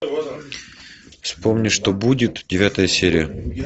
вспомни что будет девятая серия